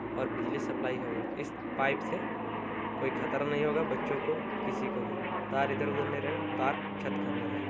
और बिजली सप्लाई होगा इस पाइप से। कोई खतरा नहीं होगा बच्चों को किसी को भी। तार इधर-उधर नहीं रहेगा। तार छत के अंदर रहेगा।